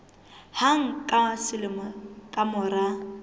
hang ka selemo ka mora